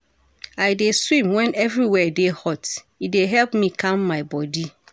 I dey swim wen everywhere dey hot, e dey help calm my bodi.